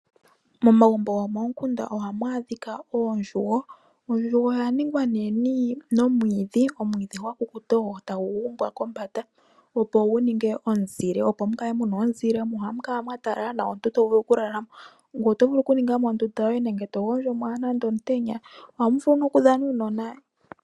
Momagumbo gomomukunda ohamu adhika oondjugo. Ondjugo oya ningwa nee momwiidhi. Omwiidhi gwa kukuta ogo tagu gumbwa kombanda, opo gu ninge omuzile, opo mu kale mu na omuzile. Ohamu kala mwa talala nawa omuntu to vulu okulala mo. Ngoye oto vulu okuninga mo ondunda yoye nenge to gondjo mo omutenya. Ohamu vulu nokudhanwa kuunona.